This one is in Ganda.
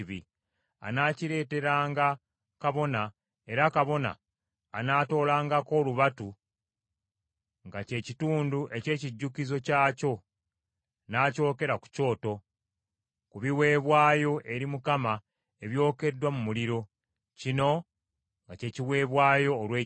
Anaakireeteranga kabona, era kabona anaatoolangako olubatu, nga kye kitundu eky’ekijjukizo kyakyo, n’akyokera ku kyoto, ku biweebwayo eri Mukama ebyokeddwa mu muliro. Kino nga kye kiweebwayo olw’ekibi.